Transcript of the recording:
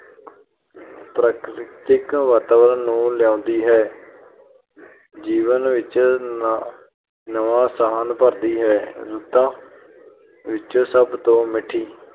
ਅਹ ਪ੍ਰਕਿਰਤਿਕ ਵਾਤਾਵਰਨ ਨੂੰ ਲਿਆਉਦੀ ਹੈ। ਜੀਵਨ ਵਿੱਚ ਨਵਾਂ ਸਾਹਸ ਭਰਦੀ ਹੈ। ਰੁੱਤਾਂ ਵਿੱਚ ਸਭ ਤੋਂ ਮਿੱਠੀ